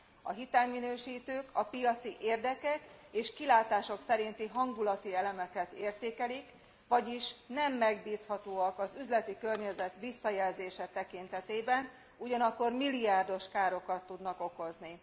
A hitelminősítők a piaci érdekek és kilátások szerinti hangulati elemeket értékelik, vagyis nem megbízhatóak az üzleti környezet visszajelzése tekintetében, ugyanakkor milliárdos károkat tudnak okozni.